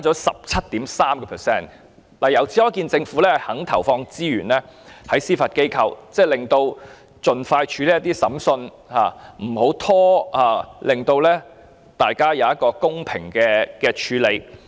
由此可見，政府願意投放資源在司法機構，使司法機構可以盡快處理審訊，不會拖延，令案件獲得公平處理。